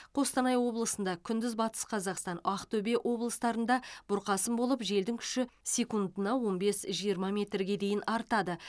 қостанай облысында күндіз батыс қазақстан актөбе облыстарында бұрқасын болып желдің күші секундына он бес жиырма метрге дейін артады